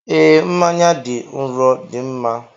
Ee, mmanya dị nro dị mma.